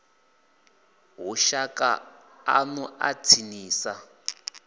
hu shaka ḽanu ḽa tsinisa